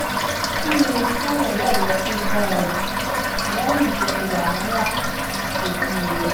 kí ni ìṣe ìrọ̀lẹ́ rẹ tí ó dára jù lẹ́yìn gbogbo wàhálà ojúmọmọ?